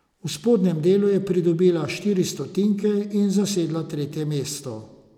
V spodnjem delu je pridobila štiri stotinke in zasedla tretje mesto.